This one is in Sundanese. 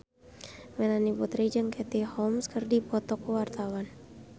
Melanie Putri jeung Katie Holmes keur dipoto ku wartawan